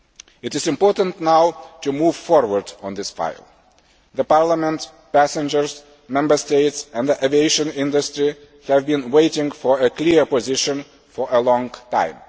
It is important now to move forward on this file. Parliament, passengers, Member States and the aviation industry have been waiting for a clear position for a